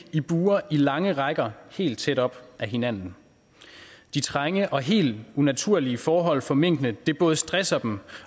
i bure i lange rækker helt tæt op ad hinanden de trange og helt unaturlige forhold for minkene både stresser dem